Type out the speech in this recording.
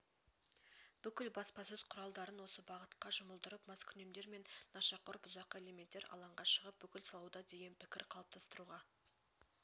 бүкіл баспасөз құралдарын осы бағытқа жұмылдырып маскүнемдер мен нашақор бұзақы элементтер алаңға шығып бүлік салуда деген пікір қалыптастыруға